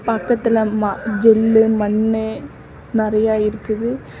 பக்கத்துல ஜெல்லு மண்ணு நறையா இருக்குது.